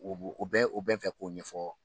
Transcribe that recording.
U u bɛ u bɛɛ fɛ k'o ɲɛfɔ